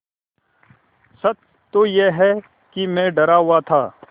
सच तो यह है कि मैं डरा हुआ था